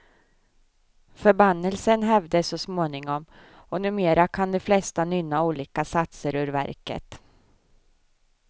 Förbannelsen hävdes så småningom och numera kan de flesta nynna olika satser ur verket.